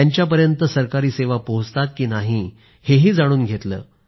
त्यांच्यापर्यंत सरकारी सेवा पोहचतात की नाही हेही जाणून घेतलं